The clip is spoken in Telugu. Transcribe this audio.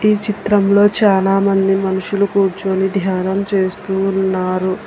ఈ చిత్రంలో చాలామంది మనుషులు కూర్చోని ధ్యానం చేస్తున్నారు.